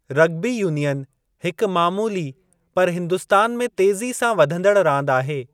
Rugby union हिकु मामूली पर हिन्दुस्तान में तेज़ी सां वधंदड़ रांदि आहे।